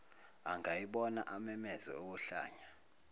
angayibona amemeze okohlanya